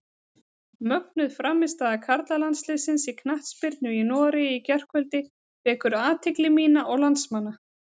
Mögnuð frammistaða karlalandsliðsins í knattspyrnu í Noregi í gærkvöldi vekur athygli mína og landsmanna.